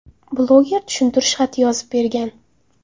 Bloger tushuntirish xati yozib bergan.